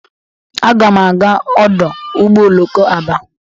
Aga m aga ọdụ ụgbọ oloko Aba